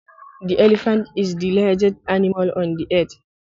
The elephant is the largest animal on earth.